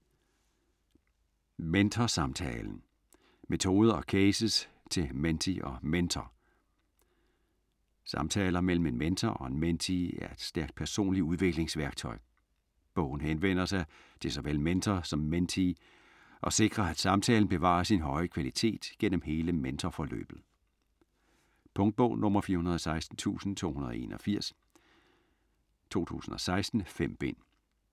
Mentorsamtalen: metoder og cases til mentee og mentor Samtaler mellem en mentor og en mentee er et stærkt personligt udviklingsværktøj. Bogen henvender sig til såvel mentor som mentee, og sikrer at samtalen bevarer sin høje kvalitet gennem hele mentorforløbet. Punktbog 416281 2016. 5 bind.